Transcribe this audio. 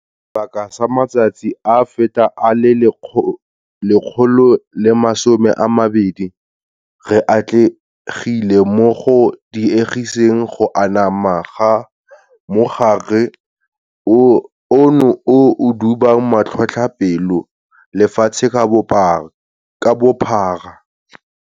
Sebaka sa matsatsi a feta a le 120, re atlegile mo go diegiseng go anama ga mogare ono o o dubang matlhotlhapelo lefatshe ka bophara.